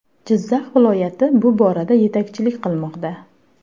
Jizzax viloyati bu borada yetakchilik qilmoqda.